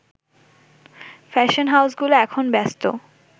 fashion হাউসগুলো এখন ব্যস্ত